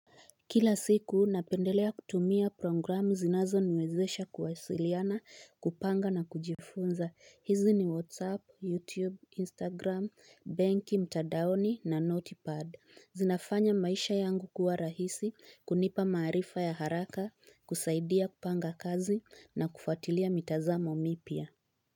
Kila siku, napendelea kutumia programu zinazo niwezesha kuwasiliana, kupanga na kujifunza. Hizi ni WhatsApp, YouTube, Instagram, banki, mtadaoni na NotiPad. Zinafanya maisha yangu kuwa rahisi, kunipa maarifa ya haraka, kusaidia kupanga kazi na kufatilia mitazamo mipya.